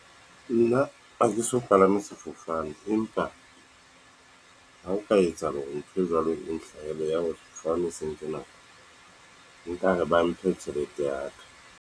Nna ha ke so palame sefofane, empa ha o ka etsahala hore ntho e jwalo, e nhlahele ya hore sefofane se nke nako nka re ba mphe tjhelete ya ka.